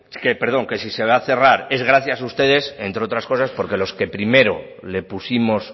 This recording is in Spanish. perdón que si se va a cerrar es gracias a ustedes entre otras cosas porque los que primero le pusimos